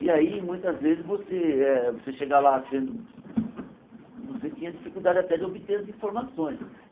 E aí, muitas vezes, você eh você chega lá sendo... Você tinha dificuldade até de obter as informações.